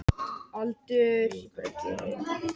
Samt datt mér ekkert betra í hug.